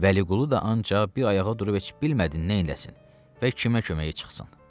Vəliqulu da ancaq bir ayağa durub heç bilmədi neyniləsin və kimə köməyə çıxsın.